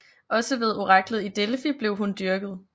Også ved oraklet i Delfi blev hun dyrket